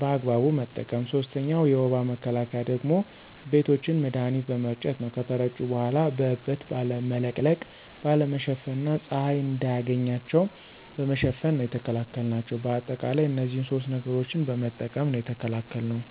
በአግባቡ በመጠቀም። ሶስተኛው የወባ መከላከያ ደግሞ ቤቶችን መድሀኒት በመርጨት ነው ከተረጩ በኋላ በእበት ባለመለቅለቅ፣ ባለመሸፈን እና ፀሀይ እንዳያገኛቸው በመሸፈን ነው የተከላከልናቸው። በአጠቃላይ እነዚህን ሶስት ነገሮችን በመጠቀም ነው የተከላከልነው።